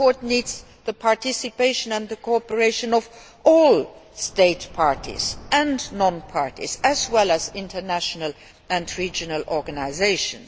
The Court needs the participation and the cooperation of all State Parties and non Parties, as well as international and regional organisations.